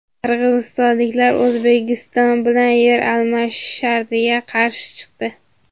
Qirg‘izistonliklar O‘zbekiston bilan yer almashish shartiga qarshi chiqdi.